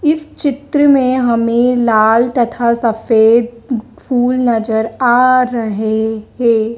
इस चित्र में हमें लाल तथा सफेद फूल नजर आ रहे हैं।